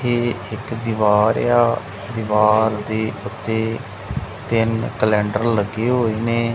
ਇਹ ਇੱਕ ਦੀਵਾਰ ਆ ਦੀਵਾਰ ਦੇ ਉੱਤੇ ਤਿੰਨ ਕੈਲੰਡਰ ਲੱਗੇ ਹੋਏ ਨੇ।